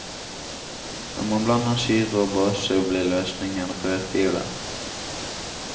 Når man blander syre og base blir løsningen rødfiolett.